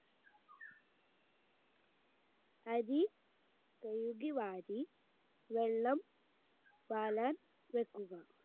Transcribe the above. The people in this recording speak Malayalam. അരി കെഴുകി വാരി വെള്ളം വെക്കുക